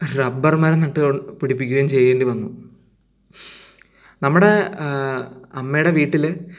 rubber മരം നട്ടു പിടിപ്പിക്കേണ്ടിയും ചെയ്യേണ്ടി വന്നു നമ്മുടെ ഹ് അമ്മയുടെ വീട്ടില്